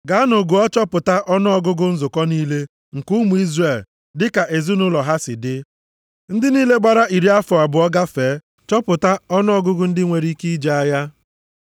“Gaanụ gụọ, chọpụta ọnụọgụgụ nzukọ niile nke ụmụ Izrel dịka ezinaụlọ ha si dị; ndị niile gbara iri afọ abụọ gafee. Chọpụta ọnụọgụgụ ndị nwere ike ije agha.”